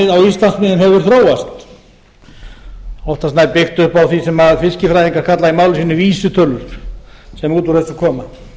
íslandsmiðum hefur þróast oftast nær byggt upp á því sem fiskifræðingar kalla á máli sínu vísitölur sem út úr þessu koma síðan